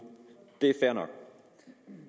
det er fair nok